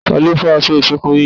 Talọ́ fá aṣọ iṣọ̀kan mí yá?